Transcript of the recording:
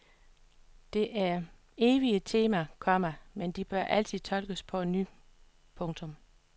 Det er evige temaer, komma men de bør altid tolkes på ny. punktum